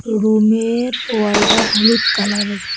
Room -এর wall -টা হলুদ কালার -এর।